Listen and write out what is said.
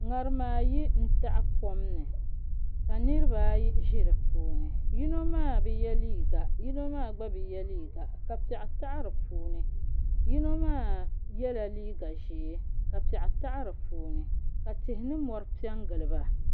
ŋarima ayi n taɣa kom ni ka niraba ayi ʒi di puuni yino maa bi yɛ liiga yino maa gba bi yɛ liiga ka piɛɣu taɣi di puuni yino maa yɛla liiga ʒiɛ ka piɛɣu taɣi di puuni ka tihi ni mori piɛ n giliba